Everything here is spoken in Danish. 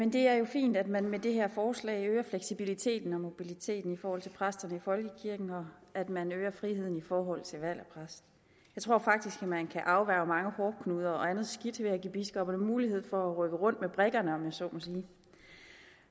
det er jo fint at man med det her forslag øger fleksibiliteten og mobiliteten i forhold til præsterne i folkekirken og at man øger friheden i forhold til valg af præst jeg tror faktisk at man kan afværge mange hårdknuder og andet skidt ved at give biskopperne mulighed for at rykke rundt med brikkerne om jeg så må sige